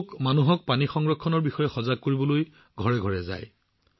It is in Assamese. তেওঁলোকে মানুহক পানী সংৰক্ষণৰ বিষয়ে সজাগ কৰিবলৈ ঘৰে ঘৰে যায়